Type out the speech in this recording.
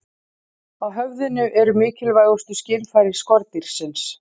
Á höfðinu eru mikilvægustu skynfæri skordýrsins.